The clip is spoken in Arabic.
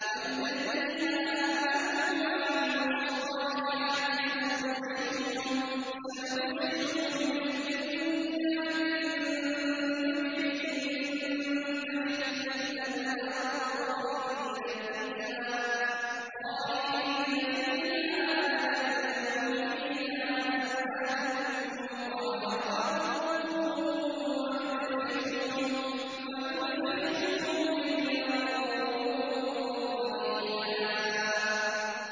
وَالَّذِينَ آمَنُوا وَعَمِلُوا الصَّالِحَاتِ سَنُدْخِلُهُمْ جَنَّاتٍ تَجْرِي مِن تَحْتِهَا الْأَنْهَارُ خَالِدِينَ فِيهَا أَبَدًا ۖ لَّهُمْ فِيهَا أَزْوَاجٌ مُّطَهَّرَةٌ ۖ وَنُدْخِلُهُمْ ظِلًّا ظَلِيلًا